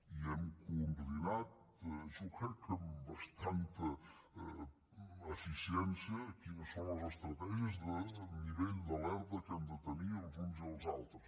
i hem coordinat jo crec que amb bastant eficiència quines són les estratè gies de nivell d’alerta que hem de tenir els uns i els altres